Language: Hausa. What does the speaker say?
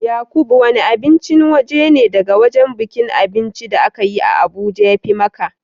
Yaqub wanne abincin waje ne daga wajen bukin abinci da aka yi a Abuja ya fi ma ka?